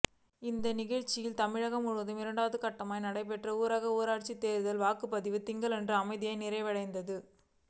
இந்நிலையில் தமிழகம் முழுவதும் இரண்டாம் கட்டமாக நடைபெற்ற ஊரக உள்ளாட்சித் தேர்தலில் வாக்குப்பதிவு திங்களன்று அமைதியாக நிறைவடைந்தது